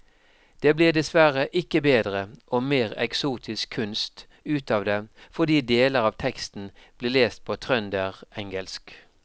Det blir dessverre ikke bedre og mer eksotisk kunst ut av det fordi deler av teksten blir lest på trønderengelsk.